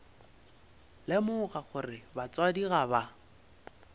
lemoga gore batswadi ga ba